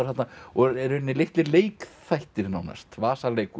þarna og í rauninni litlir leikþættir nánast